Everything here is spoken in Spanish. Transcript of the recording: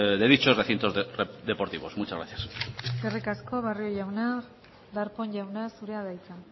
de dichos recintos deportivos muchas gracias eskerrik asko barrio jauna darpón jauna zurea da hitza